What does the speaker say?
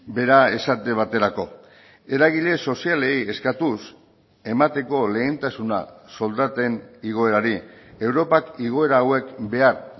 bera esate baterako eragile sozialei eskatuz emateko lehentasuna soldaten igoerari europak igoera hauek behar